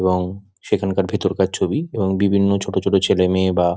এবং সেখান কার ভেতর কার ছবি এবং বিভিন্ন ছোট ছোট ছেলে মেয়ে বা --